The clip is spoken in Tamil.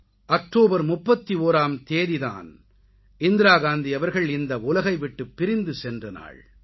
அக்டோபர் 31ஆம் தேதியன்று தான் இந்திரா காந்தி அவர்கள் இந்த உலகை விட்டுப் பிரிந்து சென்ற நாள்